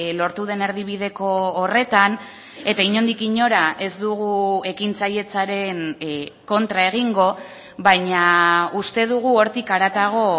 lortu den erdibideko horretan eta inondik inora ez dugu ekintzailetzaren kontra egingo baina uste dugu hortik haratago